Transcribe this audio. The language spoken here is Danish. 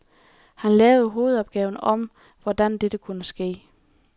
Han lavede hovedopgave om, hvordan dette kunne ske.